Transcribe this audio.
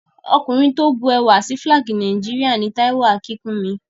Ọkùnrin tí ó bu ẹwà sí Fílàgì Nàìjíríà ni Táíwò Akínkúnmi